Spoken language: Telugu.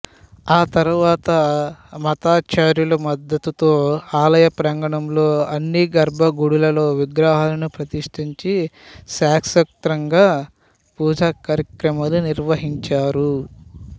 ఆ తర్వాత మతాచార్యుల మద్దతుతో ఆలయ ప్రాంగణంలో అన్ని గర్బగుడులలో విగ్రహాలను ప్రతిష్ఠించి శాస్త్రోక్తంగా పూజా కార్యక్రమాలు నిర్వ హించారు